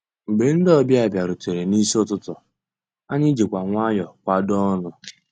Mgbé ndị́ ọ̀bịá bìàrùtérè n'ísí ụtụtụ́, ànyị́ jìkwà nwayọ́ọ̀ kwàdóó ọnụ́.